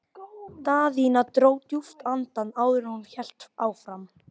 Daðína dró djúpt andann áður en hún hélt áfram.